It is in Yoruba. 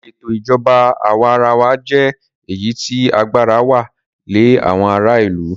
Ìsètò ìjọba àwa arawa jẹ́ èyí tí agbára wà lẹ àwọn ará ìlú.